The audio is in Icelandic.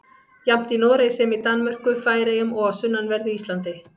Jafnt í Noregi sem í Danmörku, Færeyjum og á sunnanverðu Íslandi.